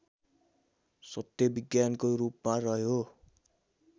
सत्य विज्ञानको रूपमा रह्यो